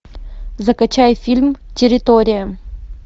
закачай фильм территория